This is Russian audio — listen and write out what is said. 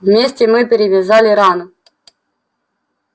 вместе мы перевязали рану